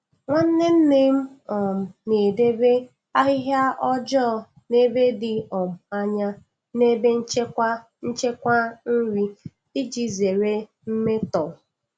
Nwanne nne m um na-edebe ahịhịa ọjọọ n'ebe dị um anya na ebe nchekwa nchekwa nri iji zere mmetọ.